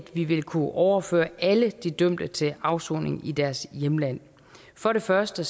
vi vil kunne overføre alle de dømte til afsoning i deres hjemland for det første